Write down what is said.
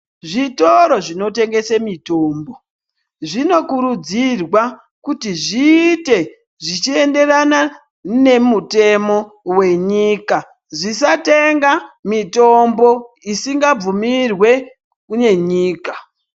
Zvitoro zvinotengesa mitombo zvinokurudzirwa kuti zviite zvichienderana nemutemo wenyika zvisatenge mitombo isingabvumirwe nenyika.